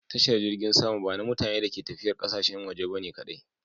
Tashar jirgin sama ba na mutane da ke tafiya ƙasashen waje kadai ba ne.